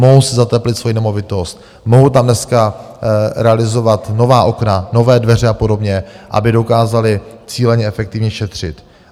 Mohou si zateplit svoji nemovitost, mohou tam dneska realizovat nová okna, nové dveře a podobně, aby dokázali cíleně, efektivně šetřit.